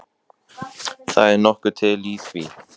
Þegar veðrinu slotar þarf að verka þang úr glugghúsum.